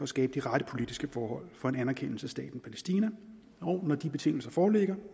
skabe de rette politiske forhold for en anerkendelse af staten palæstina og når de betingelser foreligger